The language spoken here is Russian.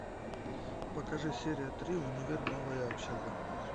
покажи серия три универ новая общага